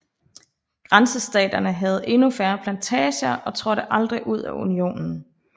Grænsestaterne havde endnu færre plantager og trådte aldrig ud af Unionen